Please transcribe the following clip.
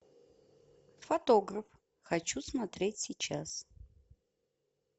фотограф хочу смотреть сейчас